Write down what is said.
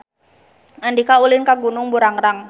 Andika ulin ka Gunung Burangrang